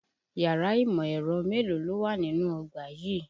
Yàrá ìmọ̀-ẹ̀rọ mélòó ló wà nínú ọgbà yìí?